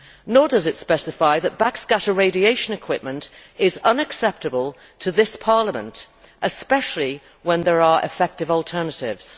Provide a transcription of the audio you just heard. Nor does it specify that backscatter radiation equipment is unacceptable to this Parliament, especially when there are effective alternatives.